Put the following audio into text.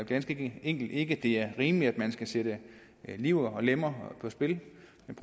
ganske enkelt ikke at det er rimeligt at man skal sætte liv og lemmer på spil